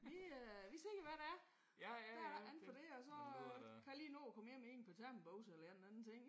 Vi øh vi ser hvad det er. Der er ikke andet for end det og så kan jeg lige nå at komme hjem i et par termobukser eller i en eller anden ting